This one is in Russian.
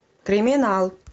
криминал